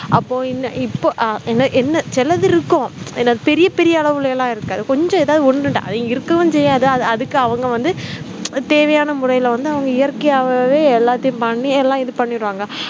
அப்போ இன்ன இப்போ அஹ் என்ன என்ன சிலதிருக்கும் என்ன பெரிய பெரிய அளவுல எல்லாம் இருக்காது கொஞ்சம் எதாவது ஒண்ணு ரெண்டு அது இங்க இருக்கவும் செய்யாது அது அதுக்கு அவங்க வந்து தேவையான முறையில வந்து அவங்க இயற்கையாகவே எல்லாத்தையும் பண்ணி எல்லாம் இது பண்ணிடுவாங்க